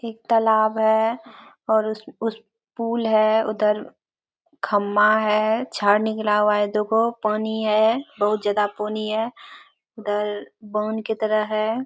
एक तालाब है और उस-उस पूल है उधर खम्मा है झाड़ निकला हुआ है देखो पानी है बोहोत ज्यादा पोनी है इधर की तरह है।